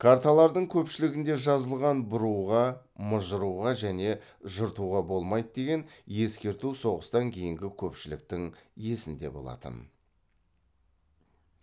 карталардың көпшілігінде жазылған бұруға мыжыруға және жыртуға болмайды деген ескерту соғыстан кейінгі көпшіліктің есінде болатын